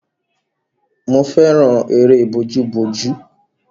Mo fẹ́ràn eré bójú bójú.